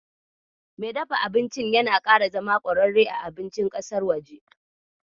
Me dafa abincin yana ƙara zama ƙwararre a abincin ƙasar waje.